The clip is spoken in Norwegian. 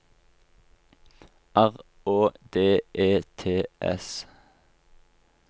R Å D E T S